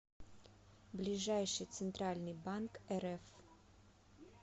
ближайший центральный банк рф